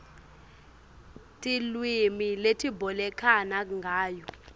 tilwimi letibolekana ngayo